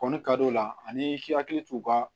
Kɔnni kad'o la ani i k'i hakili to u ka